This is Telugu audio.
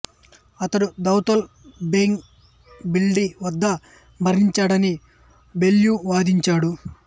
అతడు దౌలత్ బేగ్ ఓల్డీ వద్ద మరణించాడని బెల్ల్యూ వాదించాడు